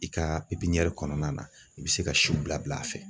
I ka pepiɲɛri kɔnɔna na i be se ka siw bila bil'a fɛ